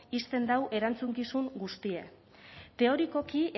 uzten du erantzukizun guztia teorikoki